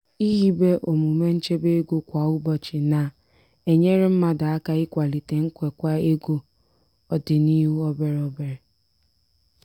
ihibe omume nchebe ego kwa ụbọchị na-enyere mmadụ aka ikwalite nkwekwa ego ọdịnuhụ obere obere.